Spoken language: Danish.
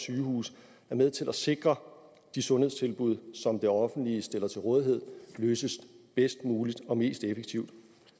sygehuse er med til at sikre de sundhedstilbud som det offentlige stiller til rådighed løses bedst muligt og mest effektivt